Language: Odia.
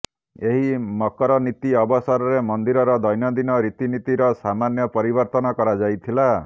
ଏହି ମକରନୀତି ଅବସରରେ ମନ୍ଦିରର ଦୈନଦିନ ରୀତିନୀତିର ସାମନ୍ୟ ପରିବର୍ତନ କରାଯାଇଥିଲା